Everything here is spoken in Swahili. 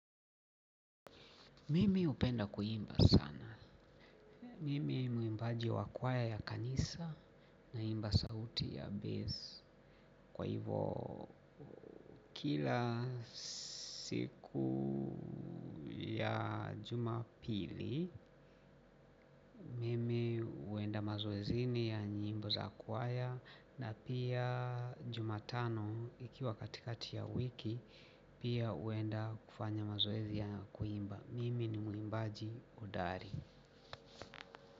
Mimi hupenda kuimba sana. Mimi muimbaji wa kwaya ya kanisa naimba sauti ya bass. Kwa hivyo kila siku ya juma pili mimi huenda mazoezini ya nyimbo za kwaya. Na pia jumatano ikiwa katikati ya wiki pia uenda kufanya mazoezi ya kuimba. Mimi ni muimbaji hodari.